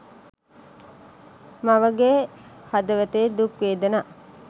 මවගේ හදවතේ දුක් වේදනා